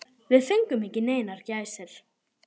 Við fengum ekki neinar gæsir.